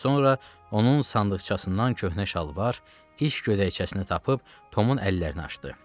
Sonra onun sandıqçasından köhnə şalvar, iş gödəkcəsini tapıb Tomun əllərini açdı.